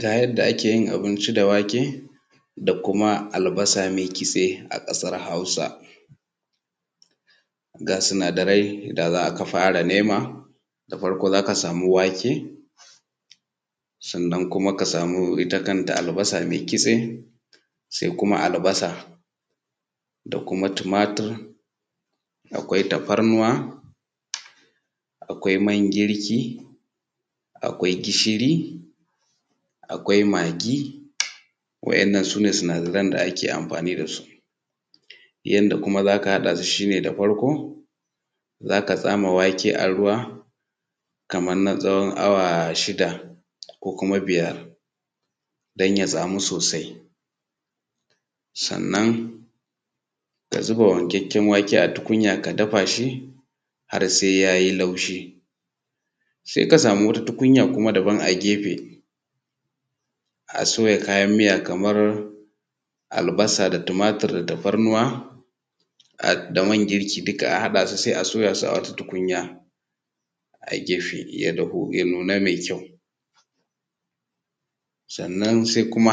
Ga yadda ake yi abinci da wake da kuma albasa mai kitse a ƙasar Hausa. Ga sinadarai da za ka fara nema, da farko za a sama wake sannan ka sama ita kanta albasa maikitse sai kuma albasa da kuma tumatur, akwai tafarnuwa akwai man girkin kwai gishiri akwai magi. Wandan na su ne sunadaran da ake amfani da su. Yadda kuma za haɗa su shi ne da farko za ka sa wake a ruw a kamar na tsawon awa shida ko kuma biyar don ya samu sosai. Sannan ka zuba wankakken wake a tukunya ka dafa shi har sai yayi laushi. Sai ka sama wata tukunyar kuma a gefe a soya kayan miya kamar albasa da tumatur da tafarnuwa, da man girki duk a haɗa su sai a soya a tukunya a gefe ya dahu ya nuna mai ƙyau. Sannan kuma sai kuma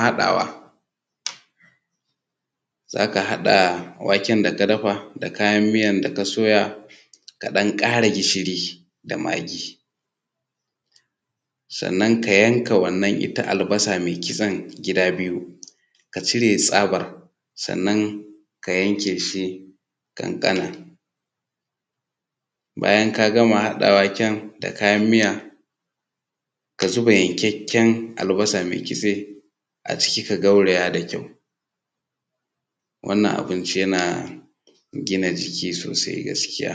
haɗa waken da ka dafa da kayan miyar da ka soya ka ɗan kara gishiri da magi. Sannan ka yanka wannan ita albasa mai kitsen gida biyu, ka cire tsabar ƙanƙana. Baya ka gama haɗa waken da kayan miya ka xuba yankakken albasa a ciki. Wannan abinci yana gina jiki sosai gaskiya.